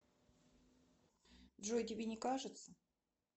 джой тебе не кажется